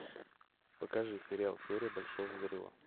покажи сериал теория большого взрыва